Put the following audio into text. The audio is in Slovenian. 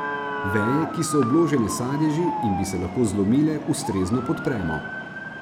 Veje, ki so obložene s sadeži in bi se lahko zlomile, ustrezno podpremo.